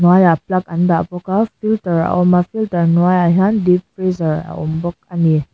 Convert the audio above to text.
hnuaiah plug an dah bawk a filter a awm a filter hnuaiah hian deep freezer a awm bawk a ni.